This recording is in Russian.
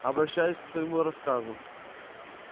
обращаюсь к своему рассказу